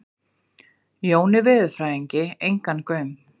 Jóni veðurfræðingi engan gaum.